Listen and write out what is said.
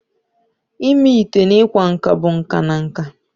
Ịme ite na ịkwa akwa bụ nka na nka